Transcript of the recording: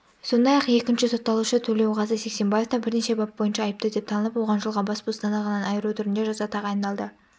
сондай-ақ екінші сотталушы төлеуғазы сексенбаев та бірнеше бап бойынша айыпты деп танылып оған жылға бас бостандығынан айыру түрінде жаза тағайындалды